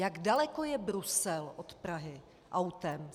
Jak daleko je Brusel od Prahy autem?